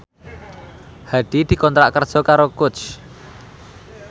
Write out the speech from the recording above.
Hadi dikontrak kerja karo Coach